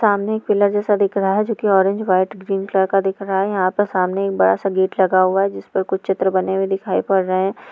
सामने एक किला जैसा दिख रहा है जो के ऑरेंज वाइट ग्रीन कलर का दिख रहा है यहाँ पर सामने एक बड़ा सा गेट लगा हुआ है जिसपे कुछ चित्र बने हुए दिखाई पड़ रहें है।